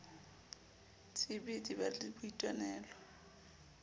tb di ba le boitwanelo